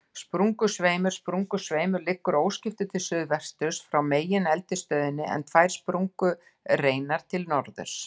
Sprungusveimur Sprungusveimur liggur óskiptur til suðsuðvesturs frá megineldstöðinni, en tvær sprungureinar til norðurs.